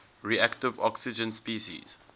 reactive oxygen species